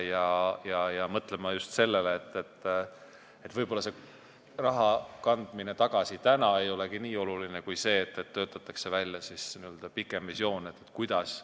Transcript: Me peaksime mõtlema just sellele, et võib-olla see raha tagasikandmine ei olegi nii oluline kui see, et töötatakse välja pikem visioon, mis saab edasi.